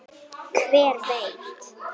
Hver veit